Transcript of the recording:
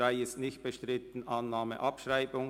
Deren Abschreibung bei Annahme ist nicht bestritten.